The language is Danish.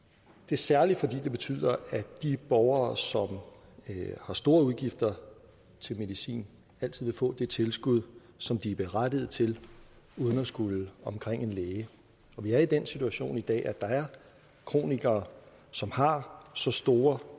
særlig fordi det betyder at de borgere som har store udgifter til medicin altid vil få det tilskud som de er berettiget til uden at skulle omkring en læge og vi er i den situation i dag at der er kronikere som har så store